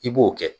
I b'o kɛ